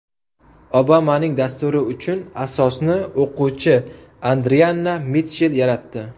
Obamaning dasturi uchun asosni o‘quvchi Adrianna Mitchell yaratdi.